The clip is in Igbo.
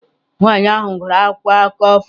Nwanyị ahụ gụrụ akwụkwọ akụkọ foto.